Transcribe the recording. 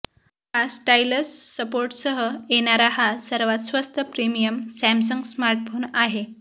हा स्टाईलस सपोर्टसह येणारा हा सर्वात स्वस्त प्रीमियम सॅमसंग स्मार्टफोन आहे